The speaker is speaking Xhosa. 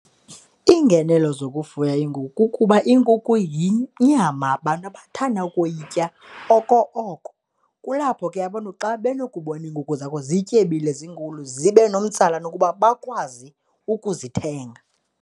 Iingenelo zokufuya iinkukhu kukuba iinkukhu yinyama abantu abathanda ukuyitya oko oko, kulapho ke abantu xa benokuba bona iinkukhu zakho zityebile, zinkulu zibe nomtsalane ukuba bakwazi ukuzithenga.